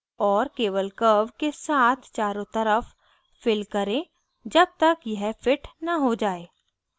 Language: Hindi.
और केवल curve के साथ चारो तरफ fiddle करें जब तक यह fits न हो जाये